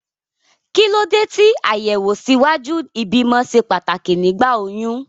Kí ló dé tí àyẹ̀wò ṣíwájú ìbímọ ṣe pàtàkì nígbà oyún?